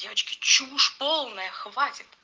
девочки чушь полная хватит